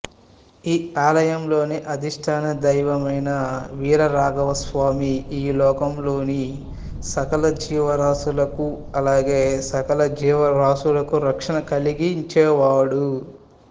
ఈ ఆలయం లోని అధిష్టాన దైవమైన వీరరాఘవ స్వామి ఈ లోకంలోని సకలజీవరాసులకు అలాగే సకల జీవరాశులకు రక్షణ కలిగించేవాడు